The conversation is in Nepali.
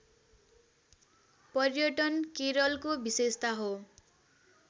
पर्यटन केरलको विशेषता हो